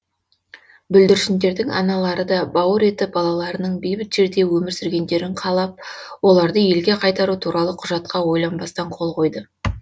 бүлдіршіндердің аналары да бауыр еті балаларының бейбіт жерде өмір сүргендерін қалап оларды елге қайтару туралы құжатқа ойланбастан қол қойды